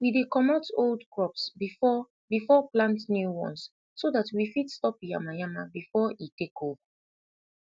we dey comot old crops before before plant new ones so dat we fit stop yama yama befor e tak ova